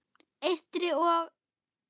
Eystri- og